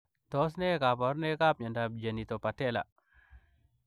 Tos ne kabarunoik ap miondoop Genitopatelaa ?